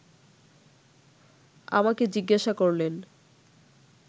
আমাকে জিজ্ঞাসা করলেন